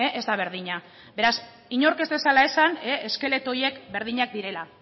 ez da berdina beraz inork ez dezala esan eskeleto horiek berdinak direla